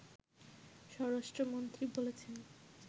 স্বরাষ্ট্রমন্ত্রী বলেছেন